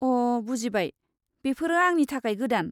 अ' बुजिबाय, बेफोरो आंनि थाखाय गोदान।